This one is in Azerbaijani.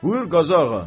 Buyur Qazağa.